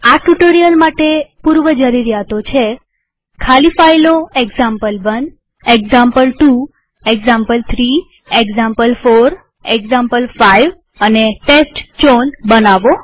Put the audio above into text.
આ ટ્યુ્ટોરીઅલ માટે પૂર્વજરૂરીયાતો છે160 ખાલી ફાઈલો example one example two example three example four example five અને ટેસ્ટચાઉન બનાવવી